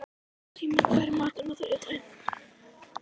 Símon, hvað er í matinn á þriðjudaginn?